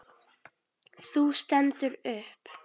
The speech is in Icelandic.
Þú stendur upp.